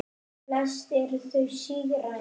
Flest eru þau sígræn.